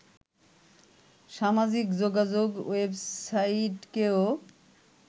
সামাজিক যোগাযোগ ওয়েবসাইটকেও